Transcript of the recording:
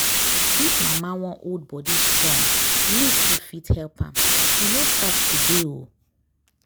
if mama wan hold body strong leaf food fit help am. e no start today o